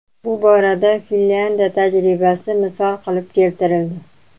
Bu borada Finlyandiya tajribasi misol qilib keltirildi.